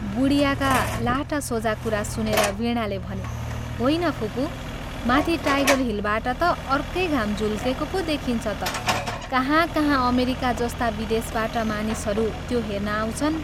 बुढियाका लाटा सोझा कुरा सुनेर वीणाले भनी " होइन फुपू, माथि टाइगर हिलबाट ता अर्कै घाम झुल्केको पो देखिन्छ ता कहाँ कहाँ अमेरिका जस्ता विदेशबाट मानिसहरू त्यो हेर्न आउँछन्।